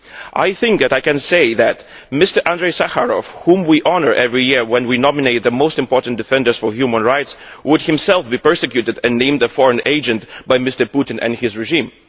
I think I can say that Mr Andrei Sakharov, whom we honour every year when we nominate the most important defenders of human rights, would himself be persecuted and named a foreign agent by Mr Putin and his regime.